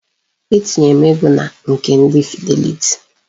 Etinyere m ego na nke ndi Fidelity.